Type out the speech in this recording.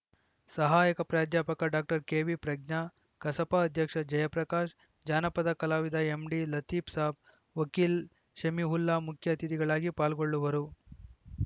ಸಹಾಯಕ ಪ್ರಾಧ್ಯಾಪಕ doctor KV Pragna ಕಸಾಪ ಅಧ್ಯಕ್ಷ ಜಯಪ್ರಕಾಶ್‌ ಜಾನಪದ ಕಲಾವಿದ ಎಂಡಿ ಲತೀಫ್‌ ಸಾಬ್‌ ವಕೀಲ ಶಮೀವುಲ್ಲಾ ಮುಖ್ಯ ಅತಿಥಿಗಳಾಗಿ ಪಾಲ್ಗೊಳ್ಳುವರು